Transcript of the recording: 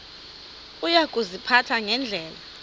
uya kuziphatha ngendlela